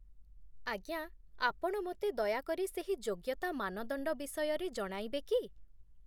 ଆଜ୍ଞା, ଆପଣ ମୋତେ ଦୟାକରି ସେହି ଯୋଗ୍ୟତା ମାନଦଣ୍ଡ ବିଷୟରେ ଜଣାଇବେ କି?